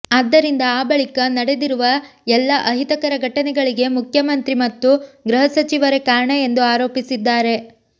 ಆದ್ದರಿಂದ ಆ ಬಳಿಕ ನಡೆದಿರುವ ಎಲ್ಲ ಅಹಿತಕರ ಘಟನೆಗಳಿಗೆ ಮುಖ್ಯಮಂತ್ರಿ ಮತ್ತು ಗೃಹಸಚಿವರೇ ಕಾರಣ ಎಂದು ಆರೋಪಿಸಿದ್ದಾರೆ